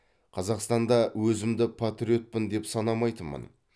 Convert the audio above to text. қазақстанда өзімді патриотпын деп санамайтынмын